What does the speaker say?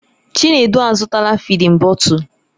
Chinedu azụtala fịdin bọtul.